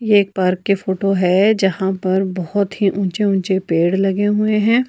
ये एक पार्क के फोटो हैं जहाँ पर बहोत ही ऊंचे ऊंचे पेड़ लगे हुए हैं।